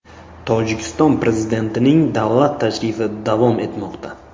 Tojikiston prezidentining davlat tashrifi davom etmoqda.